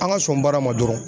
An ka sɔn baara ma dɔrɔn